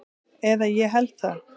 Eða ég held það.